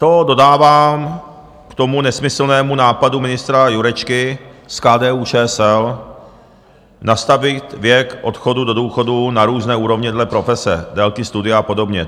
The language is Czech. To dodávám k tomu nesmyslnému nápadu ministra Jurečky z KDU-ČSL nastavit věk odchodu do důchodu na různé úrovně dle profese, délky studia a podobně.